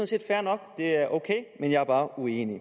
set fair nok det er ok men jeg er bare uenig